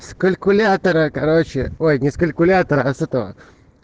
с калькулятора короче ой ни с калькулятора а с этого